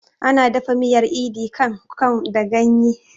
Ana dafa miyar idi kan kon da ganye